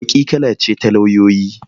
Baƙi kala ce ta lauyoyi.